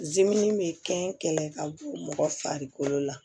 bɛ kɛn kɛlɛ ka bɔ mɔgɔ farikolo la